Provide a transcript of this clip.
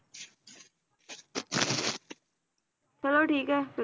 ਚਲੋ ਠੀਕ ਆ, ਫਿਰ